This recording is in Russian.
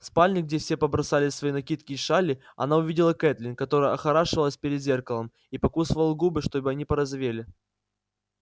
в спальне где все побросали свои накидки и шали она увидела кэтлин которая охорашивалась перед зеркалом и покусывала губы чтобы они порозовели